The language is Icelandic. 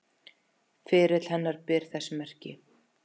Ferill hennar ber þess merki.